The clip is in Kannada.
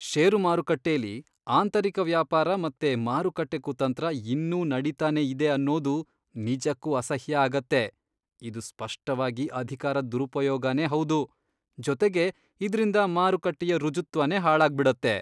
ಷೇರು ಮಾರುಕಟ್ಟೆಲಿ ಆಂತರಿಕ ವ್ಯಾಪಾರ ಮತ್ತೆ ಮಾರುಕಟ್ಟೆ ಕುತಂತ್ರ ಇನ್ನೂ ನಡೀತಾನೇ ಇದೆ ಅನ್ನೋದು ನಿಜಕ್ಕೂ ಅಸಹ್ಯ ಆಗತ್ತೆ. ಇದು ಸ್ಪಷ್ಟವಾಗಿ ಅಧಿಕಾರದ್ ದುರುಪಯೋಗನೇ ಹೌದು.. ಜೊತೆಗೆ ಇದ್ರಿಂದ ಮಾರುಕಟ್ಟೆಯ ಋಜುತ್ವನೇ ಹಾಳಾಗ್ಬಿಡತ್ತೆ.